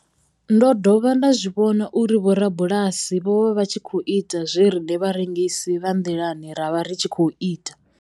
Ndo dovha nda zwi vhona uri vhorabulasi vho vha vha tshi khou ita zwe riṋe vharengisi vha nḓilani ra vha ri tshi khou ita.